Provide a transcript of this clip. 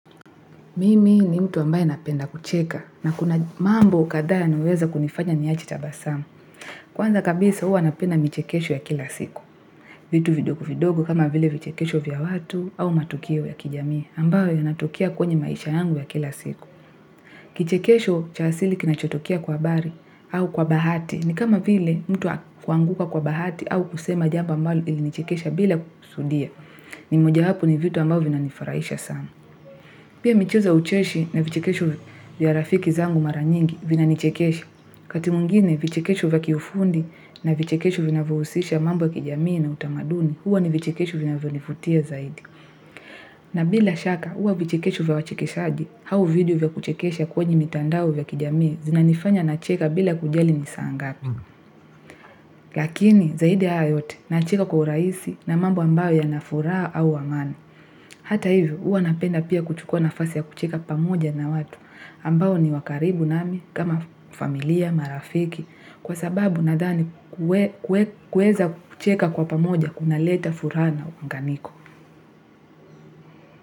Mimi ni mtu ambaye napenda kucheka na kuna mambo kadhaa uniweza kunifanya niyachi tabasamu. Kwanza kabisa uwa napenda michekesho ya kila siku. Vitu vidogo vidogo kama vile vichekesho vya watu au matukio ya kijamii ambayo yanatukia kwenye maisha yangu ya kila siku. Kichekesho cha asili kinachotokea kwa bari au kwa bahati ni kama vile mtu kuanguka kwa bahati au kusema jambo mbalo ilinichekesha bila kusudia. Ni moja hapu ni vitu ambayo vina nifurahisha sana. Pia michezo ya ucheshi na vichikesho vya rafiki zangu maranyingi vina nichikesha. Katimuingine vichikesho vya kiofundi na vichikesho vinavyousisha mambo ya kijamii na utamaduni, huwa ni vichikesho vinavyonifutia zaidi. Na bila shaka huwa vichikesho vya wachekeshaji, au video vya kuchekesha kwenye mitandao vya kijamii zina nifanya na cheka bila kujali nisaangapi. Lakini zaidi hayo yote na cheka kwa uraisi na mambo ambayo ya nafuraha au amani. Hata hivyo, uwa napenda pia kuchukua nafasi ya kucheka pamoja na watu, ambao ni wakaribu nami, kama familia, marafiki, kwa sababu nadhani kueza kucheka kwa pamoja, kuna leta furaha na unganiko.